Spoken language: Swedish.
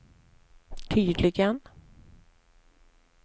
tydligen